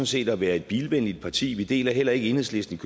set at være et bilvenligt parti vi deler heller ikke enhedslistens